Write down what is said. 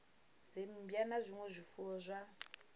dzimmbwa na zwinwe zwifuwo zwa